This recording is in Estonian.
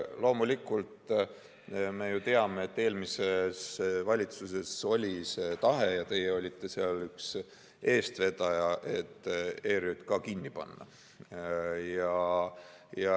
Loomulikult, me ju teame, et eelmises valitsuses oli tahe – ja teie olite selle üks eestvedajaid – ERJK kinni panna.